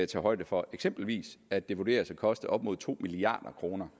tage højde for eksempelvis at det vurderes at koste op imod to milliard kr